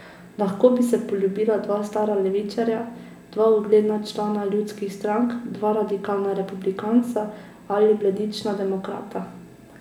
Lahko bi se poljubila dva stara levičarja, dva ugledna člana ljudskih strank, dva radikalna republikanca ali bledična demokrata.